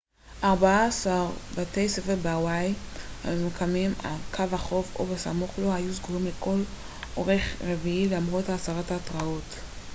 ארבעה-עשר בתי ספר בהוואי הממוקמים על קו החוף או בסמוך לו היו סגורים לכל אורך רביעי למרות הסרת ההתרעות